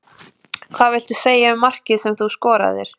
Hvað viltu segja um markið sem þú skoraðir?